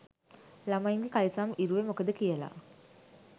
ළමයින්ගෙ කලිසම් ඉරුවෙ මොකද කියලා